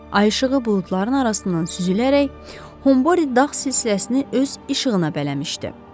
Ay işığı buludların arasından süzülərək Humbore dağ silsiləsini öz işığına bələmişdi.